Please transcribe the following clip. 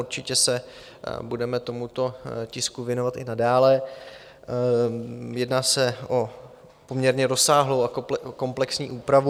Určitě se budeme tomuto tisku věnovat i nadále, jedná se o poměrně rozsáhlou a komplexní úpravu.